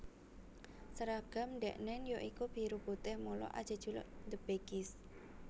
Seragam dheknen ya iku biru putih mula ajejuluk The Baggies